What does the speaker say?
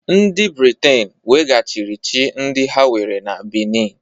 Ndị Briten weghachiri chi ndị ha were na Benin